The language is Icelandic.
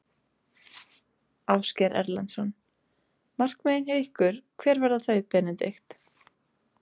Ásgeir Erlendsson: Markmiðin hjá ykkur, hver verða þau Benedikt?